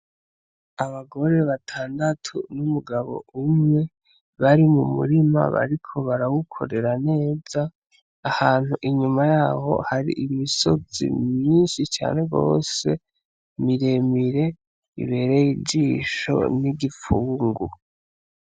Abagore batandatu n'umugabo umwe, bari mu murima bariko barawukorera neza ahantu inyuma yaho hari imisozi myinshi cane gwose miremire ibereye ijisho n'igifungu.